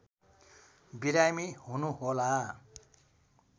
बिरामी हुनुहोला